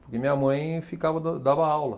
Porque minha mãe ficava, dan dava aula.